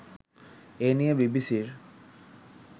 এ নিয়ে বিবিসির